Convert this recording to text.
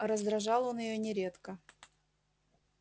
а раздражал он её нередко